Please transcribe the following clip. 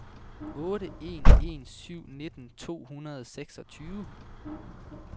otte en en syv nitten to hundrede og seksogtyve